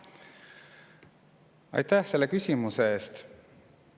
Aitäh selle küsimuse eest!